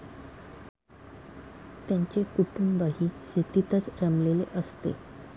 त्यांचे कुटुंबही शेतीतच रमलेले असते.